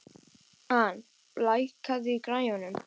Ann, lækkaðu í græjunum.